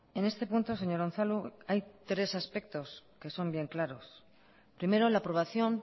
en este punto señor unzalu hay tres aspectos que son bien claros primero la aprobación